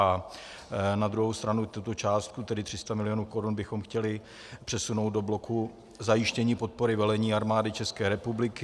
A na druhou stranu tuto částku, tedy 300 mil. korun, bychom chtěli přesunout do bloku zajištění podpory velení Armády České republiky.